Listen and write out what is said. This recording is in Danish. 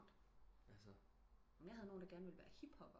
Jeg havde nogen der gerne ville være hiphopper